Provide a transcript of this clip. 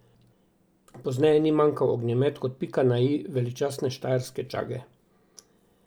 Pozneje ni manjkal ognjemet kot pika na i veličastne štajerske čage.